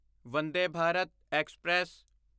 ਵੰਡੇ ਭਾਰਤ ਐਕਸਪ੍ਰੈਸ